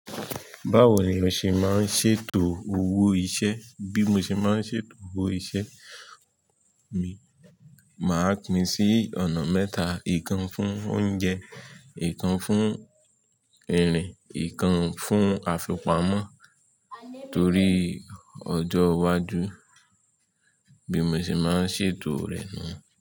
Báwo ni o ṣe máa ń ṣètò owó iṣẹ́? Bí mo ṣe máa ń ṣètò owó iṣẹ́ mi, màá pín sí ọ̀nà mẹ́ta. Ìkan fún ounje, ìkan fún irin, ìkan fún afipamo torí ojó wájú. Bí mo ṣe máa ń ṣètò rẹ̀ niyen.